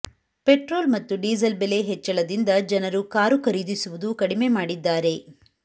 petrol ಮತ್ತು diesel ಬೆಲೆ ಹೆಚ್ಚಳದಿಂದ ಜನರು ಕಾರು ಖರೀದಿಸುವುದು ಕಡಿಮೆ ಮಾಡಿದ್ದಾರೆ